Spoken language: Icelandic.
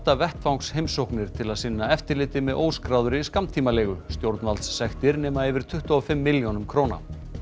vettvangsheimsóknir til að sinna eftirliti með óskráðri skammtímaleigu stjórnvaldssektir nema yfir tuttugu og fimm milljónum króna